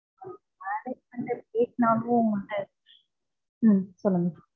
management ல கேட்டாலும். ஹம் சொல்லுங்க